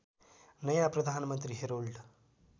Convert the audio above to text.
नयाँ प्रधानमन्त्री हेरोल्ड